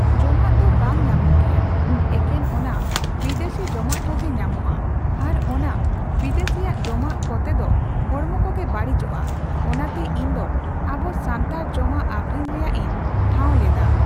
ᱡᱚᱢᱟᱜ ᱫᱚ ᱵᱟᱝ ᱧᱟᱢᱚᱜ ᱜᱮᱭᱟ, ᱮᱠᱮᱱ ᱚᱱᱟ ᱵᱤᱫᱮᱥᱤ ᱡᱚᱢᱟᱜ ᱠᱚᱜᱮ ᱧᱟᱢᱚᱜᱼᱟ ᱾ᱟᱨ ᱚᱱᱟ ᱵᱤᱫᱮᱥᱤᱭᱟᱜ ᱡᱚᱢᱟᱜ ᱠᱚᱛᱮ ᱫᱚ ᱦᱚᱲᱢᱚ ᱠᱚᱜᱮ ᱵᱟᱲᱤᱡᱚᱜᱼᱟ ᱾ᱚᱱᱟᱛᱮ ᱤᱧ ᱫᱚ ᱟᱵᱚ ᱥᱟᱱᱛᱟᱲ ᱡᱚᱢᱟᱜ ᱟᱹᱠᱷᱨᱤᱧ ᱨᱮᱭᱟᱜ ᱤᱧ ᱴᱷᱟᱸᱣ ᱞᱮᱫᱼᱟ ᱾